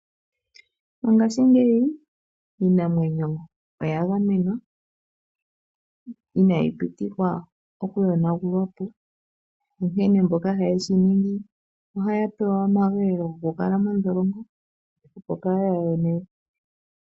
Mongashingeyi iinamwenyo oya gamenwa, inayi pitikwa okuyonagulwa po. Onkene mboka haye shiningi ohaya pewa omageelo gokukala mondholongo opo kaa ya yone we.